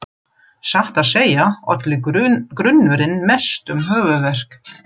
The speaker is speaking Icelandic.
Satt að segja olli grunnurinn mestum höfuðverk.